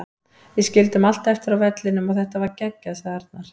Við skildum allt eftir á vellinum og þetta var geggjað, sagði Arnar.